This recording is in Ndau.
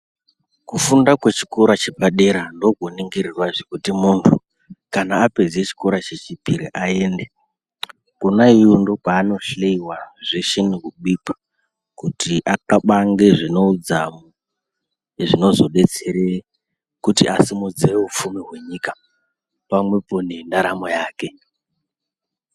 Kufunda kwechikora chepadera ndokoningirirwa zvekuti muntu kana apedze chikora chechipiri aende. Kona iyoyo ndokwaanohloyiwa zveshe nekubikwa kuti axabange zvine udzamu zvinozobetsere kuti asimudzire upfumi hwenyika pamwepo nendaramo yake.